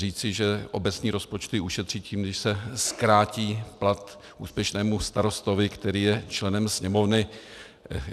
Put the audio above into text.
Říci, že obecní rozpočty ušetří tím, když se zkrátí plat úspěšnému starostovi, který je členem Sněmovny...